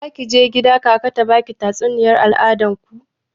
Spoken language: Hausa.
Zaki je gida kaka ta baki tatsuniyar al'adar ku?